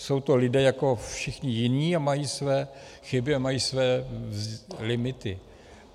Jsou to lidé jako všichni jiní a mají své chyby a mají své limity.